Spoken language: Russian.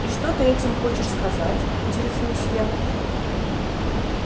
и что ты этим хочешь сказать интересуюсь я